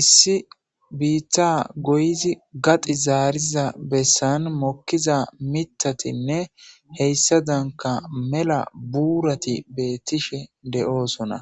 Issi biitta goyizi gaxi zaariza bessan mokkiza mitatinne heyssa danka mela buurati beettishe de7oosona